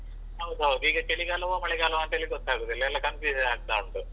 ಹೌದೌದು. ಈಗ ಚಳಿಗಾಲವ ಮಳೆಗಾಲವ ಅಂತ ಹೇಳಿ ಗೊತ್ತಾಗುದಿಲ್ಲ ಎಲ್ಲ confusion ಆಗ್ತಾ ಉಂಟು.